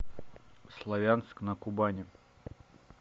славянск на кубани